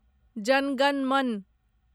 जन गण मन